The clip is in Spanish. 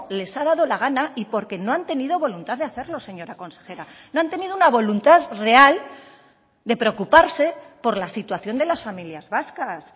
les ha dado la gana y porque no han tenido voluntad de hacerlo señora consejera no han tenido una voluntad real de preocuparse por la situación de las familias vascas